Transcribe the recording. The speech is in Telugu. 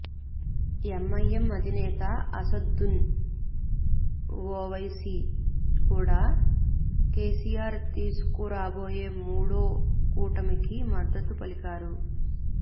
ఎంఐఎం అధినేత అసదుద్దీన్ ఒవైసీ కూడా కేసీఆర్ తీసుకురాబోయే మూడో కూటమికి మద్దతు పలికారు